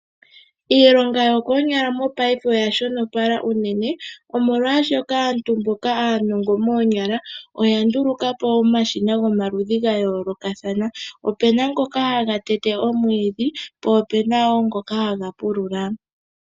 Iilonga yokoonyala mopaife oya shonopala unene, omolwashoka aantu mboka aanongo moonyala oya ndulukapo omashina gomaludhi ga yolokathana, opena ngoka haga tete omwiidhi po opena ngoka haga pulula.